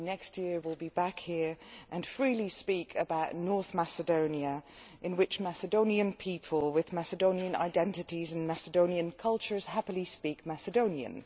maybe next year we will be back here and freely speak about North Macedonia' in which Macedonian people with Macedonian identities and Macedonian culture happily speak Macedonian.